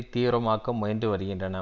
தீவிரமாக்க முயன்று வருகின்றன